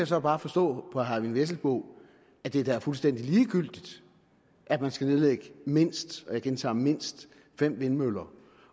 så bare forstå på herre eyvind vesselbo at det da er fuldstændig ligegyldigt at man skal nedlægge mindst og jeg gentager mindst fem vindmøller